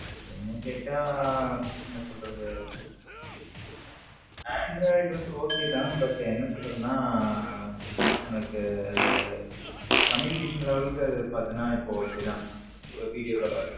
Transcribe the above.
என்ன கேட்ட என்ன சொல்லுறது, android வந்து okay தான் but என்ன சொல்லுறது உனக்கு communication level க்கு பாத்தின இப்போ okay தான் videocall ல.